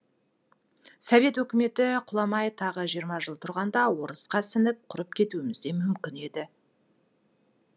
совет үкіметі құламай тағы жиырма жыл тұрғанда орысқа сіңіп құрып кетуіміз де мүмкін еді